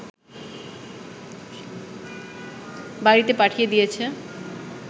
বাড়ীতে পাঠিয়ে দিয়েছে